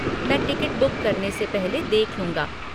मैं ticket book करने से पहले देख लूंगा।